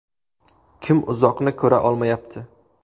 Kim uzoqni ko‘ra olmayapti?